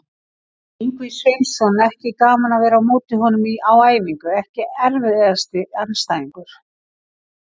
Ingvi Sveinsson, ekki gaman að vera á móti honum á æfingu EKKI erfiðasti andstæðingur?